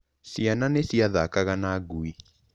Ciana nĩ ciathakaga na ngui.